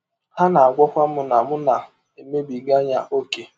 Ha na - agwakwa m na m na - emebiga ya ọ́kè.